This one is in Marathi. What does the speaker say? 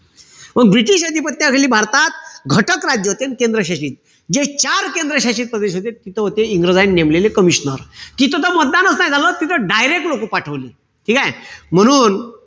मंग british अधिपत्याखाली भारतात घटक राज्य होते अन केंद्रशासित. जे चार केंद्र शासित प्रदेश होते. तिथं होते इंग्रजायन नेमलेले commisioner. तिथं त मतदानच नाई झालं. तिथं direct लोकं पाठवले. ठीकेय? म्हणून,